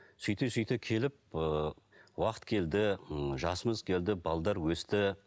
сөйте сөйте келіп ы уақыт келді м жасымыз келді өсті